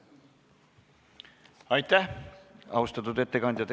Aitäh, austatud ettekandja!